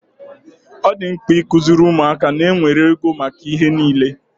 Ọ dị mkpa ikuziri ụmụaka ná enwere ego maka ihe niile